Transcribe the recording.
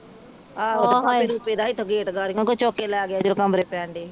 ਆਹ ਇਥੋਂ ਕੋਈ ਚੁੱਕ ਕੇ ਲੈ ਗਿਆ ਸੀ ਜਦੋ ਕਮਰੇ ਪੈਣ ਡੇ ਸੀ